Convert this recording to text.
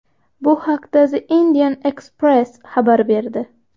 Bu haqda The Indian Express xabar berdi .